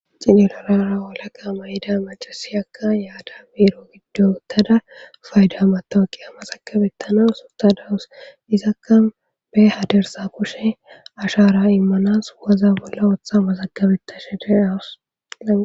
xinelorara olaqa mayida macasiyaka yaada biiro giddo uttada fayda matoqiya maxakabettana suta dawus izakka be hadersa kushe ashara immanas waza bolla ootha masakabetta she deyawus